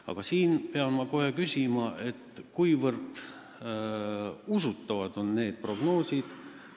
Aga ma pean kohe küsima, kuivõrd usutavad need prognoosid on.